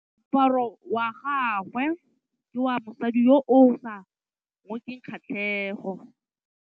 Moaparô wa gagwe ke wa mosadi yo o sa ngôkeng kgatlhegô.